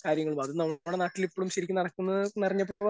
കാര്യങ്ങൾ അത് നമ്മുടെ നാട്ടിൽ ഇപ്പോളും ശരിക്കും നടക്കുന്നു എന്നറിഞ്ഞപ്പോൾ